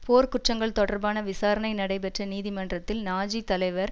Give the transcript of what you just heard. போர் குற்றங்கள் தொடர்பான விசாரணை நடைபெற்ற நீதிமன்றத்தில் நாஜி தலைவர்